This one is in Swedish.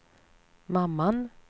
mamman